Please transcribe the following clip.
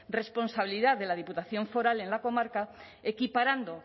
responsabilidad de la diputación foral en la comarca equiparando